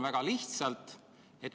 Väga lihtsalt!